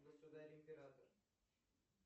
государь император